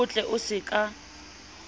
o tle o se ka